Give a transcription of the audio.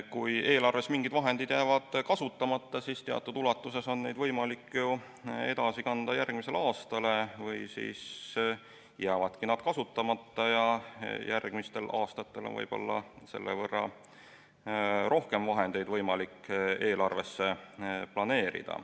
Kui eelarves mingid vahendid jäävad kasutamata, siis teatud ulatuses on neid võimalik ju edasi kanda järgmisesse aastasse või siis jäävadki need kasutamata ja järgmistel aastatel on võib-olla selle võrra rohkem vahendeid võimalik eelarvesse planeerida.